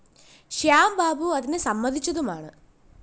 ശ്യാം ബാബു അതിനു സമ്മതിച്ചതുമാണ്